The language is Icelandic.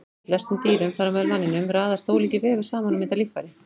Í flestum dýrum, þar á meðal manninum, raðast ólíkir vefir saman og mynda líffæri.